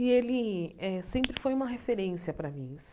E ele eh sempre foi uma referência para mim.